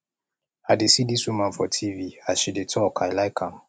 i dey see dis woman for tv as she dey talk i like am